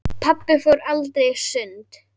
Pabbi fór aldrei í sund.